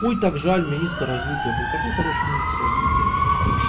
ой так жаль министр развития был такой хороший министр развития